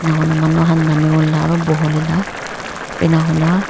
enauna manu han namiwoleh la oro bhuwoleh la ena enakuna--